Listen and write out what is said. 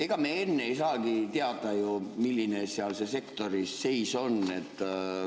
Ega me enne ei saagi ju teada, milline see sektori seis on.